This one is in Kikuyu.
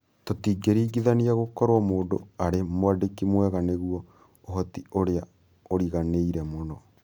Tũtingĩringithania, gũkorũo mũndũ arĩ mwandĩki mwega nĩguo ũhoti ũrĩa ũriganĩire mũno,